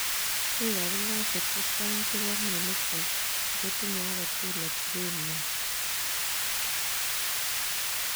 Mii kabilosiek chechang chepoo mionitok ako tinyee agee tugul atepeet ngwang